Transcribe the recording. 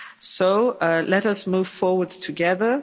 So let us move forwards together.